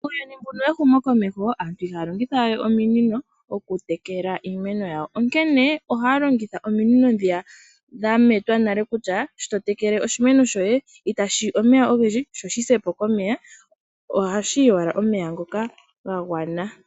Uuyuni mbuno wehumo komeho aantu ihaya longitha we ominino okutekela iimeno yawo onkene ohaya longitha ominino dhiya dhametwa nale kutya shi totekele oshimeno shoye itashiyi omeya ogendji sho shi sepo komeya oha shiyi owala omeya ngoka gagwana.